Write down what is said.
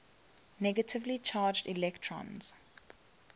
negatively charged electrons